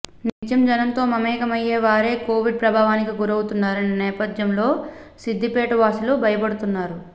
నిత్యం జనంతో మమేకయ్యే వారే కోవిడ్ ప్రభావానికి గురవుతున్న నేపథ్యంలో సిద్ధిపేట వాసులు భయపడుతున్నారు